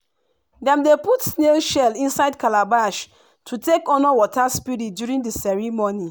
dem dey put snail shell inside calabash to take honour water spirit during the ceremony.